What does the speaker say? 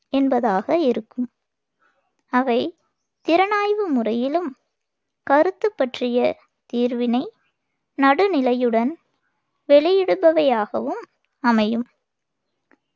என்பதாக இருக்கும் அவை திறனாய்வு முறையிலும், கருத்து பற்றிய தீர்வினை நடுநிலையுடன் வெளியிடுபவையாகவும் அமையும்.